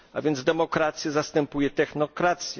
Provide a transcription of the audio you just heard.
A więc demokrację zastępuje technokracją.